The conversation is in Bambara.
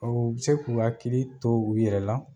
Awɔ, o bɛ se k'u hakili to u yɛrɛ la